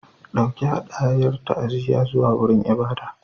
Ɗauki hadayar ta'aziyya zuwa wurin ibada.